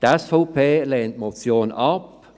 Die SVP lehnt die Motion ab.